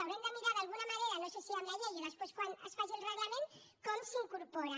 haurem de mirar d’alguna manera no sé si amb la llei o després quan es faci el reglament com s’hi incorporen